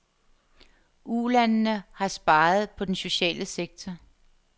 Ulandene har sparet på den sociale sektor.